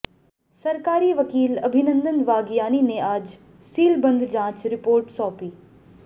सरकारी वकील अभिनंदन वागयानी ने आज सीलबंद जांच रिपोर्ट सौंपी